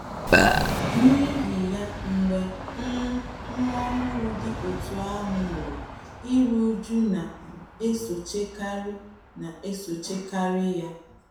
N’ihi ya, mgbe um nwa ọhụrụ dị otú ahụ nwụrụ, iru újú na - esochikarị na - esochikarị ya.